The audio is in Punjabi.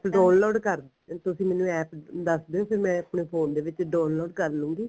download ਕਰਦੇ ਆ ਤੁਸੀਂ ਮੈਨੂੰ APP ਦੱਸ ਰਹੇ ਹੋ ਕੇ ਮੈਂ ਆਪਣੇ phone ਦੇ ਵਿੱਚ download ਕਰ ਲੂੰਗੀ